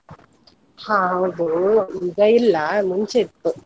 ಹಾ ಹೌದು, ಈಗ ಇಲ್ಲ ಮುಂಚೆ ಇತ್ತು.